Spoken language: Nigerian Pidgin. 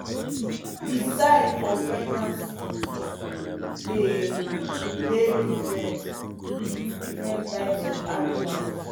the sign for pregnancy dey dey difrent with diffrent types of animals